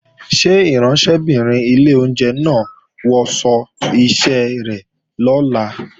Ṣé ìránṣẹ́bìnrin ilé oúnjẹ náà ó wọṣọ iṣẹ́ rẹ̀ lọ́la?